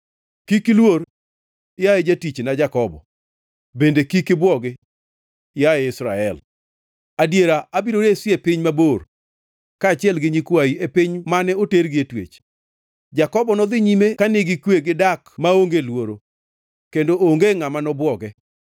“Kik iluor; yaye jatichna Jakobo; bende kik ibwogi, yaye Israel. Adiera abiro resi e piny mabor, kaachiel gi nyikwayi e piny mane otergie twech. Jakobo nodhi nyime ka nigi kwe gi dak maonge luoro, kendo onge ngʼama nobwoge.